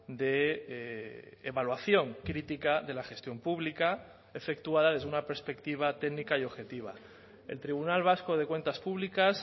de evaluación crítica de la gestión pública efectuada desde una perspectiva técnica y objetiva el tribunal vasco de cuentas públicas